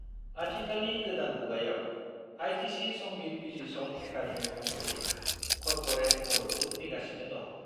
आथिखालनि गोदान मुगायाव, आईटीसी संगीत बिजिरसं एकादेमी महरै, कर्परेट मददबो फैगासिनो दं।